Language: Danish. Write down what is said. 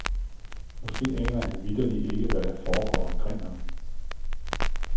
Måske aner han vitterlig ikke, hvad der foregår omkring ham.